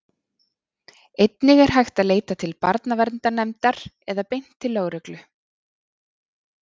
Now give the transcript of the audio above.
Einnig er hægt að leita til barnaverndarnefndar eða beint til lögreglu.